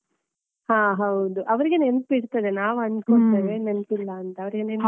ಹ ಹೌದು. ಅವರಿಗೆ ನೆನ್ಪಿರ್ತದೆ. ನಾವನ್ಕೊಳ್ತೇವೆ ನೆನ್ಪಿಲ್ಲ ಅಂತ, ಅವ್ರಿಗೆ ನೆನ್ಪಿರ್ತದೆ.